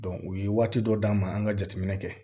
u ye waati dɔ d'an ma an ka jateminɛ kɛ